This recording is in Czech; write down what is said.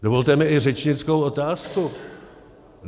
Dovolte mi i řečnickou otázku.